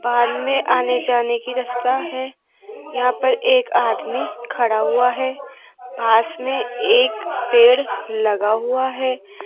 में आने जाने की रास्ता है यहां पर एक आदमी खड़ा हुआ है पास में एक पेड़ लगा हुआ है।